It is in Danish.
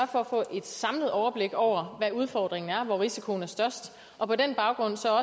for at få et samlet overblik over hvad udfordringen er hvor risikoen er størst og på den baggrund så